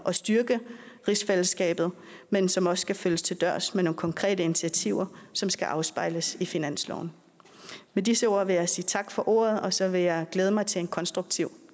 at styrke rigsfællesskabet men som også skal følges til dørs med nogle konkrete initiativer som skal afspejles i finansloven med disse ord vil jeg sige tak for ordet og så vil jeg glæde mig til en konstruktiv